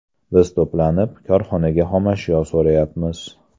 Biz to‘planib, korxonaga xomashyo so‘rayapmiz.